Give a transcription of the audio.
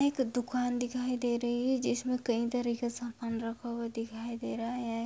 एक दुकान दिखाई दे रही है जिसमे कई तरह के सामान रखा हुआ दिखाई दे रहे हैं।